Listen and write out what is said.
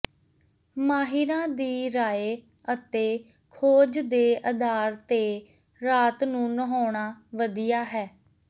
ਮਾਹਿਰਾਂ ਦੀ ਰਾਏ ਅਤੇ ਖੋਜ ਦੇ ਆਧਾਰ ਤੇ ਰਾਤ ਨੂੰ ਨਹਾਉਣਾ ਵਧਿਆ ਹੈ